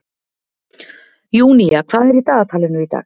Júnía, hvað er í dagatalinu í dag?